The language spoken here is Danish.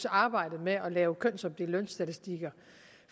arbejdet med at lave kønsopdelte lønstatistikker